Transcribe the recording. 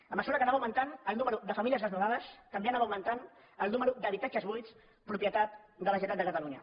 a mesura que anava augmentant el número de famílies desnonades també anava augmentant el número d’habitatges buits propietat de la generalitat de catalunya